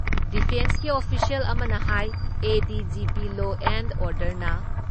ꯗꯤꯐꯦꯟꯁꯀꯤ official ꯑꯃꯅ ꯍꯥꯏ ADGP law and order ꯅ